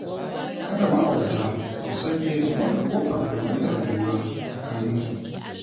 Kada ma'aurata su sake su ba da kofar ƙullatar juna a tsakaninsu